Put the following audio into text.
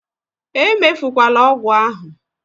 Emefukwala ọgwụ ahụ!